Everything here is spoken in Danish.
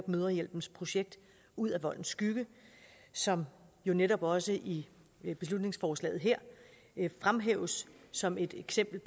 mødrehjælpens projekt ud af voldens skygge som jo netop også i i beslutningsforslaget her fremhæves som et eksempel